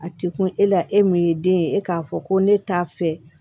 A tɛ kun e la e min ye den ye e k'a fɔ ko ne t'a fɛ